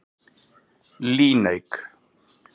Líneik